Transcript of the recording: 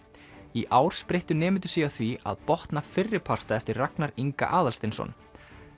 í ár spreyttu nemendur sig á því að botna fyrriparta eftir Ragnar Inga Aðalsteinsson